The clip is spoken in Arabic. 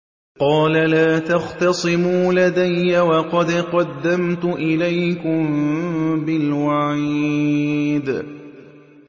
قَالَ لَا تَخْتَصِمُوا لَدَيَّ وَقَدْ قَدَّمْتُ إِلَيْكُم بِالْوَعِيدِ